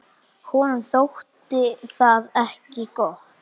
Honum þótti það ekki gott.